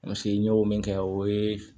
n y'o min kɛ o ye